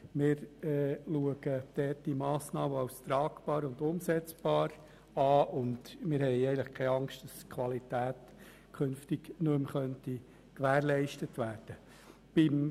Wir betrachten diese Massnahme als tragbar und umsetzbar und haben keine Angst, dass die Qualität künftig nicht mehr gewährleistet sein könnte.